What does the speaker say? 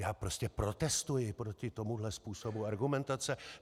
Já prostě protestuji proti tomuhle způsobu argumentace.